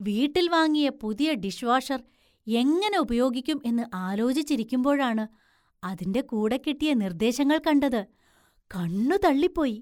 വീട്ടില്‍ വാങ്ങിയ പുതിയ ഡിഷ്‌ വാഷര്‍ എങ്ങനെ ഉപയോഗിക്കും എന്ന് ആലോചിച്ചിരിക്കുമ്പോഴാണ് അതിൻ്റെ കൂടെ കിട്ടിയ നിർദേശങ്ങൾ കണ്ടത്; കണ്ണു തള്ളിപ്പോയി.